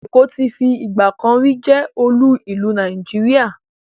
Èkó ti fi ìgbàkanrí jẹ́ olú ìlú Nàìjíríà.